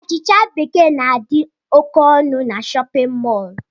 Achịcha bekee na-adi ókè ọnụ n'shóppin mol.